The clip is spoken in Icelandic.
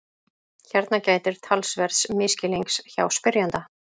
Hér gætir talsverðs misskilnings hjá spyrjanda.